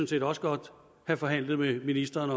set også godt have forhandlet med ministeren